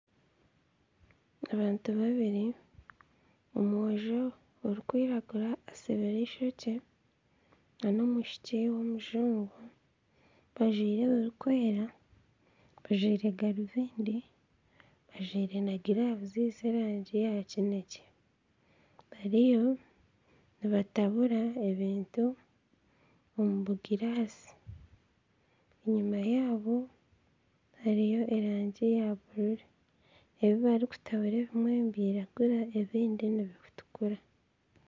Abantu babiri omwojo orikwiragura asibire eishokye nana omwishiki w'omujungu bajwire ebirikwera bajwire garubindi bajwire na giravu z'erangi ya kineekye bariyo nibatabura ebintu omu bugirasi, enyima yaabo hariyo erangi ya buru, ebi barikutabura ebimwe nibiragura ebindi nibitukura